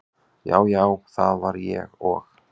já, já það var ég og.